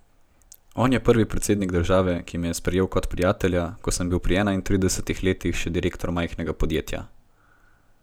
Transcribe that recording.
On je prvi predsednik države, ki me je sprejel kot prijatelja, ko sem bil pri enaintridesetih letih še direktor majhnega podjetja.